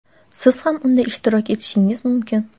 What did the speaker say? siz ham unda ishtirok etishingiz mumkin.